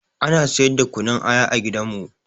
Ana siyar da kunun aya a gidanmu